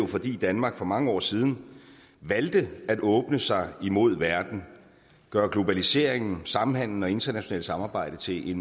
fordi danmark for mange år siden valgte at åbne sig imod verden gøre globaliseringen samhandelen og internationalt samarbejde til